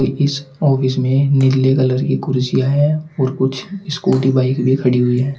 इस ऑफिस में नीले कलर की कुर्सियां हैं और कुछ स्कूटी बाइक भी खड़ी हुई है।